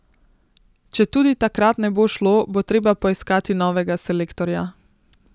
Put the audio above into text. Če tudi takrat ne bo šlo, bo treba poiskati novega selektorja.